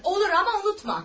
Olar, amma unutma.